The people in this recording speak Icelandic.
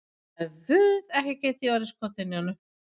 Guð, ekki gæti ég orðið skotin í honum.